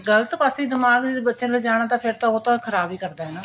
ਤੇ ਗਲਤ ਪਾਸੇ ਦਿਮਾਗ ਜੇ ਬੱਚੇ ਨੂੰ ਲਿਜਾਉਣਾ ਤਾਂ ਫੇਰ ਉਹ ਤਾਂ ਖ਼ਰਾਬ ਹੀ ਕਰਦਾ ਹੈ ਨਾ